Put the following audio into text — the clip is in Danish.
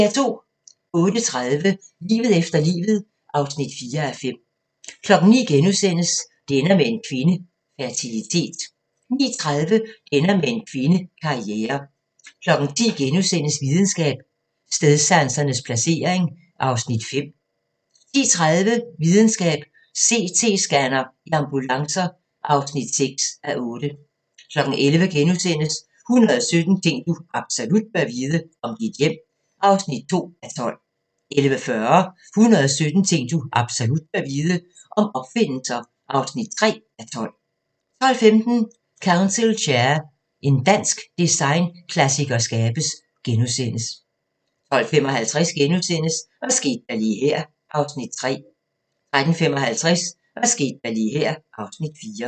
08:30: Livet efter livet (4:5) 09:00: Det ender med en kvinde – Fertilitet * 09:30: Det ender med en kvinde – Karriere 10:00: Videnskab: Stedsansens placering (5:8)* 10:30: Videnskab: CT-scanner i ambulancer (6:8) 11:00: 117 ting du absolut bør vide - om dit hjem (2:12)* 11:40: 117 ting du absolut bør vide - om opfindelser (3:12) 12:15: Council Chair – en dansk designklassiker skabes * 12:55: Hvad skete der lige her (Afs. 3)* 13:55: Hvad skete der lige her (Afs. 4)